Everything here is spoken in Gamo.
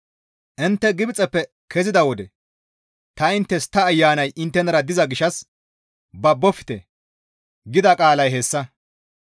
Intte Gibxeppe keziza wode ta inttes, ‹Ta Ayanay inttenara diza gishshas babofte› gida qaalay hayssa.